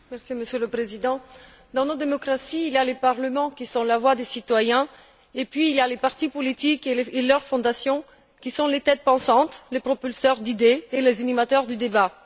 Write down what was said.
Monsieur le Président, dans nos démocraties, il y a les parlements qui sont la voix des citoyens et puis, il y a les partis politiques et leurs fondations, qui sont les têtes pensantes, les propulseurs d'idées et les animateurs du débat.